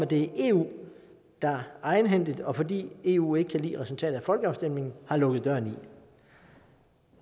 det er eu der egenhændigt og fordi eu ikke kan lide resultatet af folkestemningen har lukket døren i